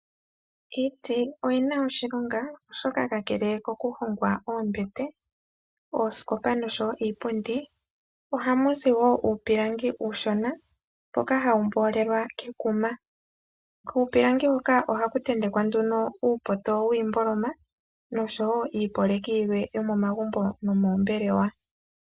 Iiti oyina oshilonga oshoka kakele kokuhongwa oombete, oosikopa nosho woo iipundi ohamu zi woo uupilangi uushona mboka hawu mboolelwa kekuma kuupilangi ohaku tentekwa nduno uupoto wiimboloma nosho woo iipolekidhwe yomomagumbo noombelewa.